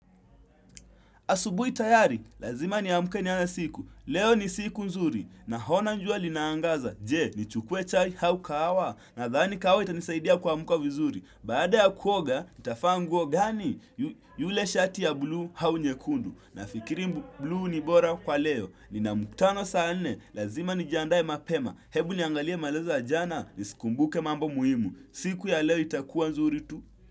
Asubuhi tayari, lazima niamke nianze siku. Leo ni siku nzuri. Naona jua linaangaza. Je, nichukue chai au kahawa. Nadhani kawa itanisaidia kuamka vizuri. Baada ya kuoga, nitavaa nguo gani yule shati ya buluu au nyekundu. Nafikiri buluu ni bora kwa leo. Nina muktano saa nne. Lazima nijiandae mapema. Hebu niangalie maleza ajana. Nisikumbuke mambo muhimu. Siku ya leo itakuwa nzuri tu.